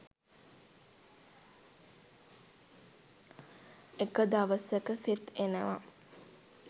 එක දවසක සෙත් එනවා